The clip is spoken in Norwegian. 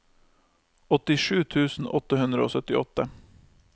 åttisju tusen åtte hundre og syttiåtte